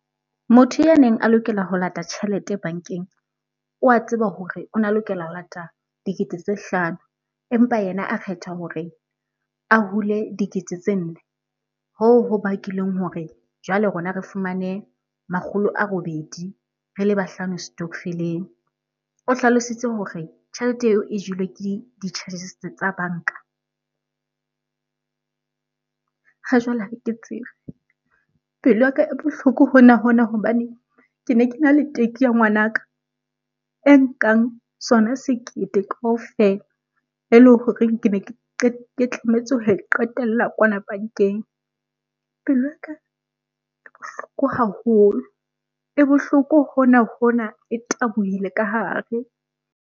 Motho ya neng a lokela ho lata tjhelete bankeng o wa tseba hore ona lokela ho lata dikete tse hlano empa yena a kgetha hore a hule dikete tse nne. Hoo ho bakileng hore jwale rona re fumane makgolo a robedi, re le bahlano setokofeleng. O hlalositse hore tjhelete eo e jelwe ke di-charges tsa banka. Ha jwale ha ke tsebe, pelo yaka e bohloko hona hona hobane ke ne kena le teki ya ngwanaka e nkang sona sekete kaofela eleng horeng kene ke tlametse ho e qetella kwana bankeng. Pelo ya ka bohloko haholo, e bohloko hona hona e tabohile ka hare.